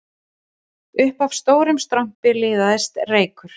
Upp af litlum strompi liðaðist reykur